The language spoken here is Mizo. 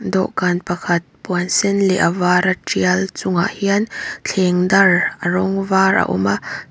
dawhkan pakhat puan sen leh a vara tial chungah hian thleng dar a rawng var a awm a.